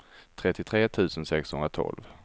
trettiotre tusen sexhundratolv